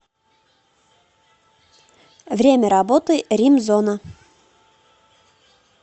время работы римзона